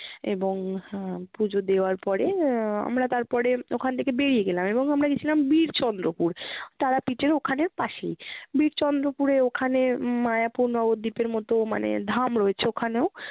এবং আহ পূজো দেওয়ার পরে আহ আমরা তারপরে ওখান থেকে বেরিয়ে গেলাম এবং আমরা গেছিলাম বীরচন্দ্রপুর। তারাপীঠের ওখানে পাশেই। বীরচন্দ্রপুরে ওখানে উম মায়াপুর নগর দ্বীপের মতো মানে ধাম রয়েছে ওখানেও